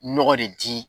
Nɔgɔ de di